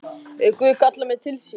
Ef Guð kallar mig til sín.